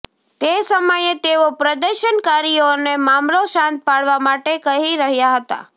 તે સમયે તેઓ પ્રદર્શનકારીઓને મામલો શાંત પાડવા માટે કહી રહ્યાં હતા